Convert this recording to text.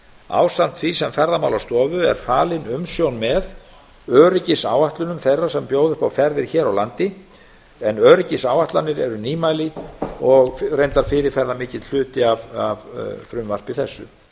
ásamt því sem ferðamálastofu er falin umsjón með öryggisáætlunum þeirra sem bjóða upp á ferðir hér á landi en öryggisáætlanir eru nýmæli og reyndar fyrirferðarmikill hluti af frumvarpi þessu